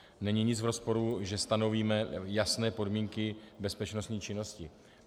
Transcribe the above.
Není nic v rozporu, že stanovíme jasné podmínky bezpečnostní činnosti.